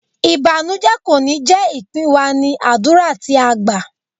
Ìbànújẹ kò ní jé ìpín wa, ní àdúrà tí a gbá.